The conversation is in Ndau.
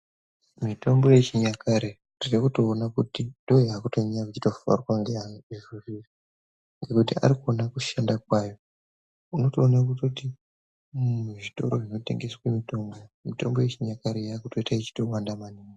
Mitombo yechinyakare tinotoona kuti ndoyakutofarirwa neantu nekuziya kuti akuona kushanda kwayo unotoona kuti muzvitoro zvinotengeswa mitombo mitombo yechinyakare iyi yakuita ichiwanda maningi.